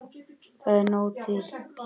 Það er nóg til.